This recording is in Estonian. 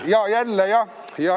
Jaa, jälle, jah.